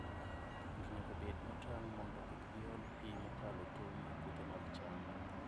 Jopur nyaka bed motang' mondo kik giol pi mokalo tong' e puothe mag cham.